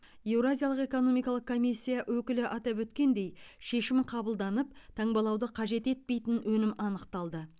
еуразиялық экономикалық комиссия өкілі атап өткендей шешім қабылданып таңбалауды қажет етпейтін өнім анықталды